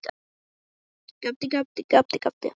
Ég veit ekki hvað það var.